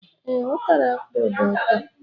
Ee, utara akpu do ụtọ